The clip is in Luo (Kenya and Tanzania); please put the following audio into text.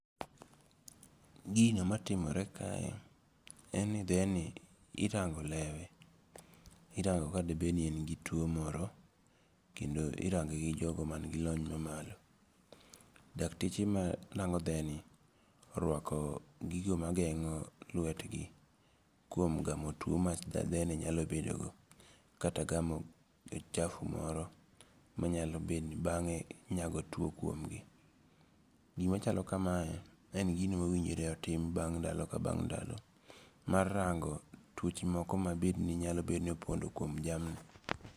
Gino matimore kae, en ni theni irango' lewe, irango ka de beni en gi tuwo moro, kendo irange gi jogo man gi lony mamalo, dakteche marango theni, orwako gigo magengo' lwetgi kuom gamo tuo ma theni nyalo bedogo kata gamo uchafu moro manyalo bed ni bange nyago tuwo kuomgi. Gimachalo kamae en gino ma owinjore otim bang ndalo ka bang' ndalo mar rango twoche moko ma bedni inyalo bedo ni opondo kuom jamni.